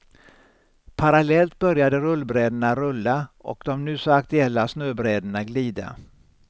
Parallellt började rullbrädorna rulla och de nu så aktuella snöbrädorna glida.